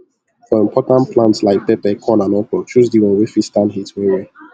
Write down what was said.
for important plant like pepper corn and okro choose di one wey fit stand heat well well